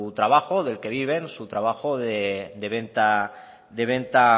trabajo del que viven su trabajo de venta